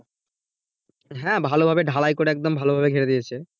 হ্যাঁ ভালো ভাবে ঢালাই করে একদম ভালো ভাবে ঘেরে দিয়েছে।